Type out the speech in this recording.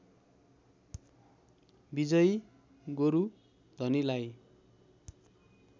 विजयी गोरु धनीलाई